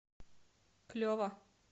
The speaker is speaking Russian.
клево